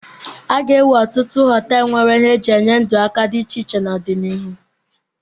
A ga-ewu ọtụtụ họtelụ nwere ihe e ji enyere ndụ aka dị iche iche n'ọdịnihu.